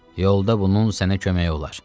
Yolda bunun sənə köməyi olar.